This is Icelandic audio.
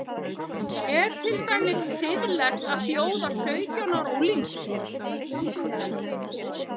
Er til dæmis siðlegt að bjóða sautján ára unglingum